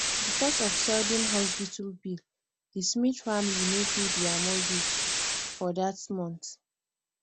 because of sudden hospital bill the smith family no pay their mortgage for that month